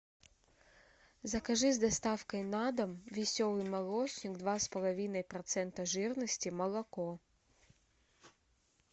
закажи с доставкой на дом веселый молочник два с половиной процента жирности молоко